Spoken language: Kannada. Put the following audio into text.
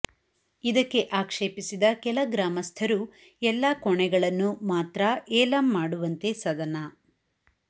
ಇದಕ್ಕೆ ಆಕ್ಷೇಪಸಿದ ಕೆಲ ಗ್ರಾಮಸ್ಥರು ಎಲ್ಲಾ ಕೋಣೆಗಳನ್ನು ಮಾತ್ರ ಏಲಂ ಮಾಡುವಂತೆ ಸದನ